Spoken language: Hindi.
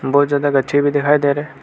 बहुत ज्यादा गच्छे भी दिखाई दे रहे।